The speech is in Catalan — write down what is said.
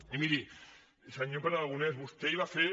i miri senyor pere aragonès vostè ahir va fer